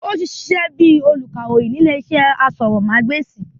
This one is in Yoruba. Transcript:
Ó ti sisẹ́ bíi olùkàròyìn ri ní ilé iṣẹ́ asọ̀rọ̀mágbèsì